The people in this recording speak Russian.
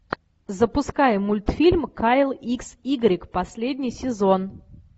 запускай мультфильм кайл икс игрек последний сезон